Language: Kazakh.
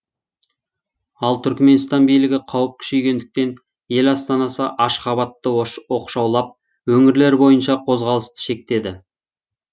ал түрікменстан билігі қауіп күшейгендіктен ел астанасы ашхабадты оқшаулап өңірлер бойынша қозғалысты шектеді